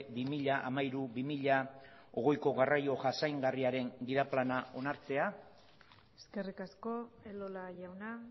bi mila hamairu bi mila hogeiko garraio jasangarriaren gida plana onartzea eskerrik asko elola jauna